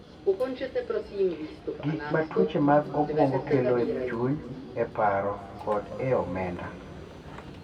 Gik ma tuoche mag obwongo kelo e chuny, e paro, kod e omenda